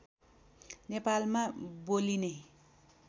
नेपालमा बोलिने